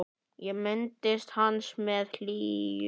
Ég minnist hans með hlýju.